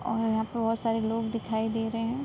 और यहां पे बहोत सारे लोग दिखाई दे रहे हैं।